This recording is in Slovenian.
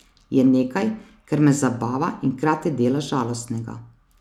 Je nekaj, kar me zabava in hkrati dela žalostnega.